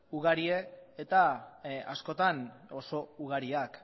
ugari eta askotan oso ugariak